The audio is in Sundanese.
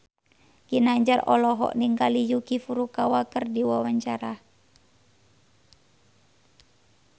Ginanjar olohok ningali Yuki Furukawa keur diwawancara